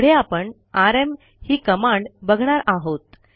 पुढे आपण आरएम ही कमांड बघणार आहोत